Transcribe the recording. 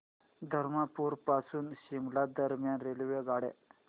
धरमपुर पासून शिमला दरम्यान रेल्वेगाड्या